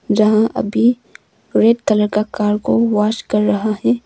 यहां अभी red colour का कार को वाश कर रहा है।